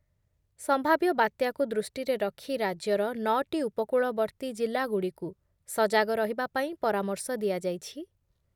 ସମ୍ଭାବ୍ୟ ବାତ୍ୟାକୁ ଦୃଷ୍ଟିରେ ରଖି ରାଜ୍ୟର ନଅଟି ଉପକୂଳବର୍ତ୍ତୀ ଜିଲ୍ଲାଗୁଡ଼ିକୁ ସଜାଗ ରହିବା ପାଇଁ ପରାମର୍ଶ ଦିଆଯାଇଛି ।